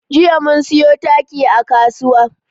Jiya mun siyo taki a kasuwa.